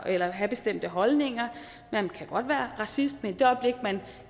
at have bestemte holdninger man kan godt være racist men i det øjeblik man